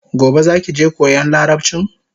Gobe zaki je koyan larabchin?